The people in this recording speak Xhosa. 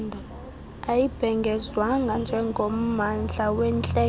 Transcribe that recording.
ayibhengezwanga njengommandla wentlekele